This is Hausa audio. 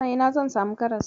A ina zan samu karas?